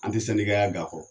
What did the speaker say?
An te ya g'a kɔ.